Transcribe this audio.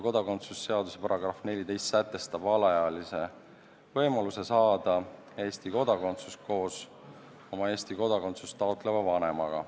Kodakondsuse seaduse § 14 sätestab alaealise võimaluse saada Eesti kodakondsus koos oma Eesti kodakondsust taotleva vanemaga.